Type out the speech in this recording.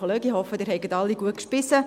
Ich hoffe, Sie haben alle gut gespeist.